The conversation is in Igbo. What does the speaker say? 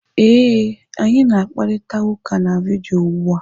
Ee, anyị na-akparịta ụka na vidiyo ugbu a.